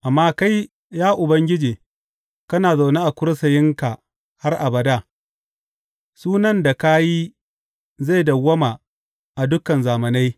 Amma kai, ya Ubangiji, kana zaune a kursiyinka har abada; sunan da ka yi zai dawwama a dukan zamanai.